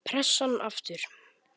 Pressan aftur.